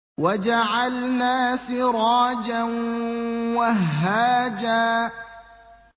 وَجَعَلْنَا سِرَاجًا وَهَّاجًا